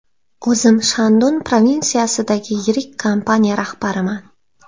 O‘zim Shandun provinsiyasidagi yirik kompaniya rahbariman.